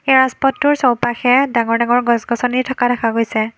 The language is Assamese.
এই ৰাজপথটোৰ চৌপাশে ডাঙৰ ডাঙৰ গছ-গছনি থকা দেখা গৈছে।